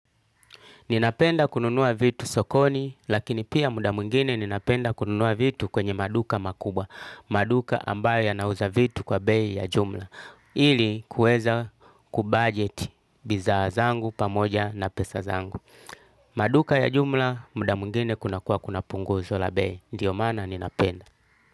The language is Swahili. Ninapenda kununua vitu sokoni, lakini pia muda mwingine ninapenda kununua vitu kwenye maduka makubwa. Maduka ambayo yanauza vitu kwa bei ya jumla. Ili kuweza kubudget bidhaa zangu pamoja na pesa zangu. Maduka ya jumla muda mwingine kuna kuwa kuna punguzo la bei. Ndio maana ninapenda.